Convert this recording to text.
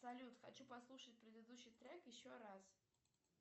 салют хочу послушать предыдущий трек еще раз